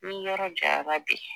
N'i yɔrɔ janyara bi.